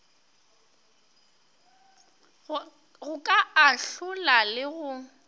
go ka ahlola le go